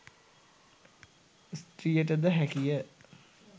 ස්ත්‍රියට ද හැකි ය.